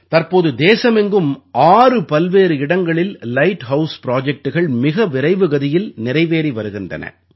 தற்போது தேசமெங்கும் 6 பல்வேறு இடங்களில் லைட் ஹவுஸ் Projectகள்மிக விரைவு கதியில் நிறைவேறி வருகின்றன